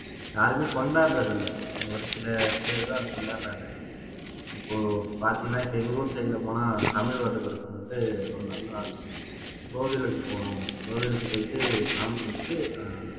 யாருமே கொண்டாடுறது இல்ல ஒரு சில பேர்தான் கொண்டாடுறாங்க இப்போ பார்த்தீங்கன்னா இப்ப எங்க ஊர் side ல போனா தமிழ் வருட பிறப்பு வந்து ஒரு நல்ல நாள் கோவிலுக்கு போகனும் கோவிலுக்கு போயிட்டு சாமி கும்பிட்டுட்டு